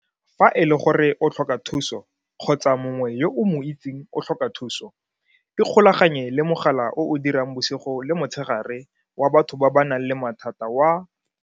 Fa e le gore o tlhoka thuso kgotsa mongwe yo o mo itseng o tlhoka thuso, ikgolaganye le mogala o o dirang bosigo le motshegare wa batho ba ba nang le mathata wa.